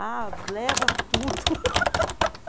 Ah, leva tudo.